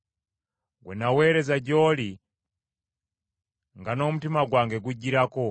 gwe naaweereza gy’oli nga n’omutima gwange gujjirako,